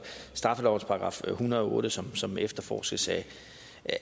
straffelovens § en hundrede og otte som som efterforskes